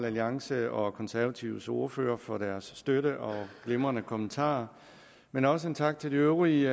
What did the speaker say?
alliances og konservatives ordførere for deres støtte og glimrende kommentarer men også en tak til de øvrige